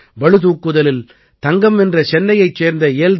பளு தூக்குதலில் தங்கம் வென்ற சென்னையைச் சேர்ந்த எல்